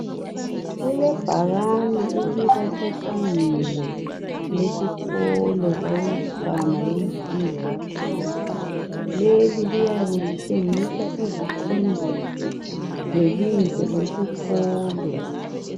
Kulebhakani elibasebangeni lesikolo sabantwana bemfundo yaphansi leli liyabe litshengisa iziqondiso lebizo lesikolo